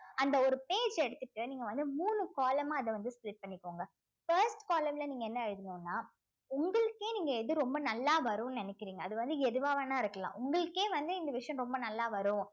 அந்த ஒரு page எடுத்திட்டு நீங்க வந்து மூணு column ஆ அத வந்து split பண்ணிக்கோங்க first column ல நீங்க என்ன எழுதணும்ன்னா உங்களுக்கே நீங்க எது ரொம்ப நல்லா வரும்ன்னு நினைக்கிறீங்க அது வந்து எதுவா வேணா இருக்கலாம் உங்களுக்கே வந்து இந்த விஷயம் ரொம்ப நல்லா வரும்